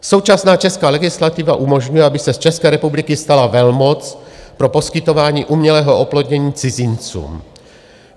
Současná česká legislativa umožňuje, aby se z České republiky stala velmoc pro poskytování umělého oplodnění cizincům.